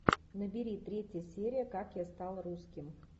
набери третья серия как я стал русским